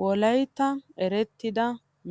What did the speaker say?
wolayttan erettida